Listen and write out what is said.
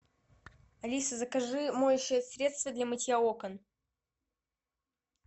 алиса закажи моющее средство для мытья окон